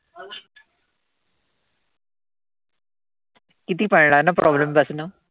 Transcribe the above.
किती पळणार ना problem पासन.